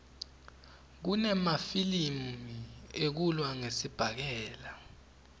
kunemafilimi ekulwa ngesibhakela